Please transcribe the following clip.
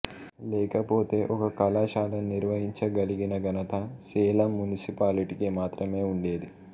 లేకపోతే ఒక కళాశాలను నిర్వహించగలిగిన ఘనత సేలం మునిసిపాలిటీకు మాత్రమే ఉండేది